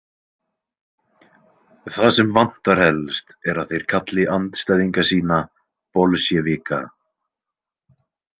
Það sem vantar helst er að þeir kalli andstæðinga sína „bolsévika“ .